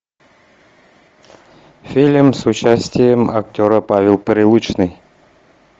фильм с участием актера павел прилучный